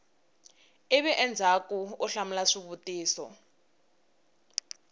ivi endzhaku u hlamula swivutiso